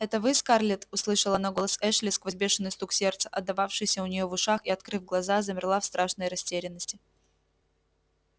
это вы скарлетт услышала она голос эшли сквозь бешеный стук сердца отдававшийся у нее в ушах и открыв глаза замерла в страшной растерянности